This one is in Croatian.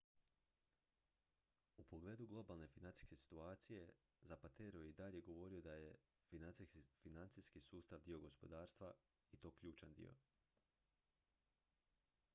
"u pogledu globalne financijske situacije zapatero je i dalje govorio da je "financijski sustav dio gospodarstva i to ključan dio.